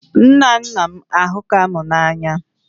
Nna nna m ahukam na anya